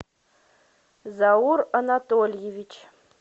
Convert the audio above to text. заур анатольевич